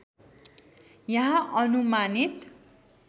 यहाँ अनुमानित